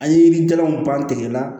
An ye yirijalanw ban tigɛ la